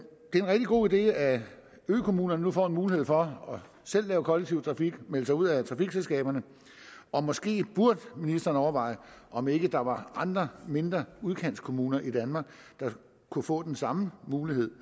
rigtig god idé at økommunerne nu får mulighed for selv at lave kollektiv trafik melde sig ud af trafikselskaberne og måske burde ministeren overveje om ikke der var andre mindre udkantskommuner i danmark der kunne få den samme mulighed